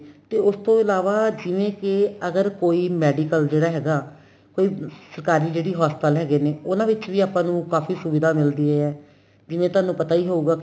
ਤੇ ਉਸ ਤੋਂ ਇਲਾਵਾ ਜਿਵੇਂ ਕੀ ਅਗਰ ਕੋਈ medical ਜਿਹੜਾ ਹੈਗਾ ਕੋਈ ਸਰਕਾਰੀ ਜਿਹੜੀ ਹਸਪਤਾਲ ਹੈਗੇ ਨੇ ਉਹਨਾ ਵਿੱਚ ਆਪਾਂ ਨੂੰ ਕਾਫੀ ਸੁਵਿਦਾ ਮਿਲਦੀ ਏ ਜਿਵੇਂ ਤੁਹਾਨੂੰ ਪਤਾ ਈ ਹੋਊਗਾ